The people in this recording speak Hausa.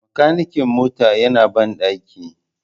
Makanikin mota yana bandaki